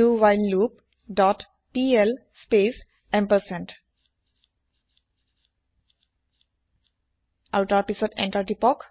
ডাৱহাইললুপ dot pl space ampersand আৰু তাৰ পিছত এন্তাৰ টিপক